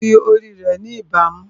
Ó fi ori rẹ̀ ni ìbámu